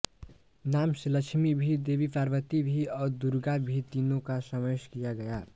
नाम से लक्ष्मी भी देवी पार्वती भी और दुर्गा भी तीनों का समावेश किया गया